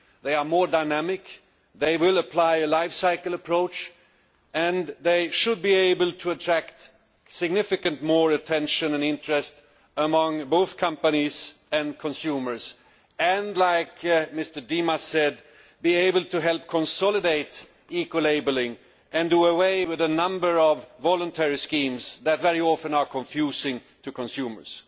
They are more dynamic, will apply a life cycle approach and should be able to attract significantly more attention and interest among both companies and consumers. As Mr Dimas said, they will be able to help consolidate eco labelling and do away with a number of voluntary schemes that are very often confusing to consumers.